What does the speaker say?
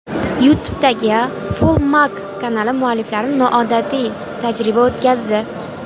YouTube’dagi FullMag kanali mualliflari noodatiy tajriba o‘tkazdi .